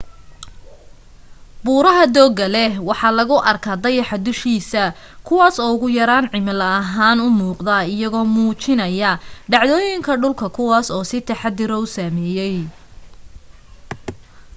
buraha dooga leh waxaa lagu arka dayaxa dushiis kuwaas oo ugu yaraan cimilo ahaan u muuqada iyagoo muujinayo dhacdoyinka dhulku kuwas uu si taxadir u sameyey